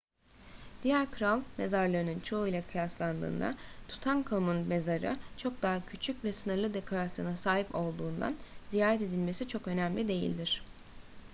diğer kral mezarlarının çoğuyla kıyaslandığında tutankhamun'un mezarı çok daha küçük ve sınırlı dekorasyona sahip olduğundan ziyaret edilmesi çok önemli değildir